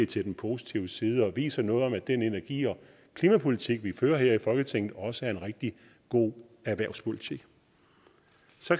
til den positive side og det viser noget om at den energi og klimapolitik vi fører her i folketinget også er en rigtig god erhvervspolitik